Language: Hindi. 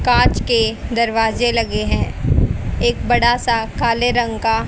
कांच के दरवाजे लगे हैं एक बड़ा सा काले रंग का--